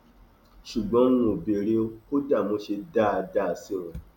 ṣùgbọn n ò béèrè o kódà mo ṣe dáadáa sí wọn